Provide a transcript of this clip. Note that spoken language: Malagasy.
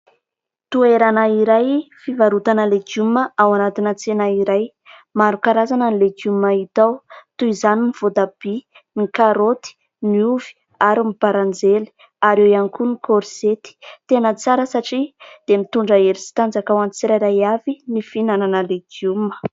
Toerana iray fivarotana legioma ao anatina tsena iray, maro karazana ny legioma hita ao toy izany ny voatabia, ny karaoty, ny ovy ary ny baranjely ary eo ihany koa ny korzety. Tena tsara satria dia mitondra hery sy tanjaka ho an'ny tsirairay avy ny fihinanana legioma.